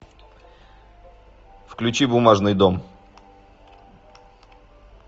включи бумажный дом